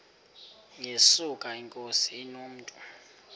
yesuka inkosi inomntu